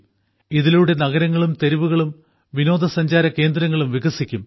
ഇതിലൂടെ നഗരങ്ങളും തെരുവുകളും പ്രാദേശിക പര്യടന കേന്ദ്രങ്ങളും വികസിക്കും